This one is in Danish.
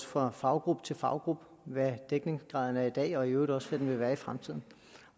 fra faggruppe til faggruppe hvad dækningsgraden er i dag og i øvrigt også vil være i fremtiden